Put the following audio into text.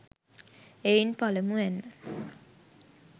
එයින් පළමුවැන්න,